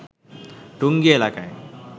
টঙ্গী এলাকায়